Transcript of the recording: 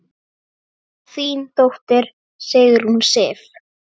Þín dóttir, Sigrún Sif.